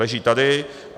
Leží tady.